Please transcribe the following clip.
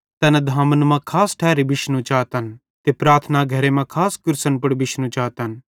तैना धामन मां खास ठैरी बिशनू चातन ते प्रार्थना घरे मां खास कुर्सन पुड़ बिशनू चातन